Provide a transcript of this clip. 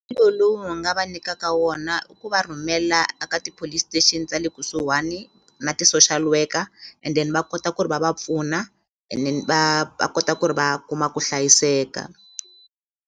lowu nga va nyikaka wona i ku va rhumela a ka ti-police station ta le kusuhani na ti-social worker and then va kota ku ri va va pfuna and then va va kota ku ri va kuma ku hlayiseka.